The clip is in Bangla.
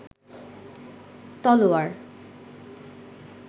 তলোয়ার